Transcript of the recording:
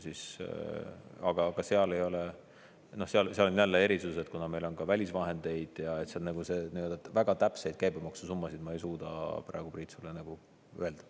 Aga ka seal on jälle erisus, et kuna meil on ka välisvahendeid, siis seal nagu väga täpseid käibemaksusummasid ma ei suuda praegu, Priit, sulle öelda.